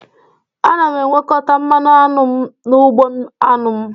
Ana m ewekọta mmanụ aṅụ m n'ugbo aṅụ m